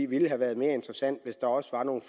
ville have været mere interessant hvis der også var nogle